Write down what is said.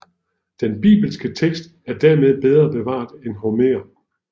Den bibelske tekst er dermed bedre bevaret end Homer